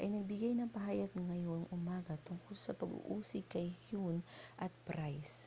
ay nagbigay ng pahayag ngayong umaga tungkol sa pag-uusig kay huhne at pryce